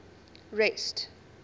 rest